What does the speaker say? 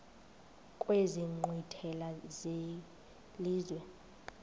kwezi nkqwithela zelizwe